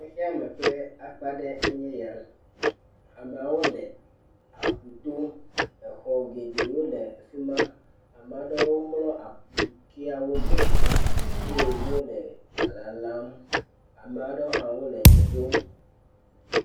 Xexeame ƒe akpa ɖe ye nye ya. Amewo le aƒu to. Exɔ geɖewo le afima, ame aɖewo mlɔ aƒu tsiawo me eye wole lalam , ame aɖewo hã nɔ dze ɖom.